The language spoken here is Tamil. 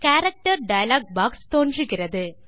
கேரக்டர் டயலாக் பாக்ஸ் தோன்றுகிறது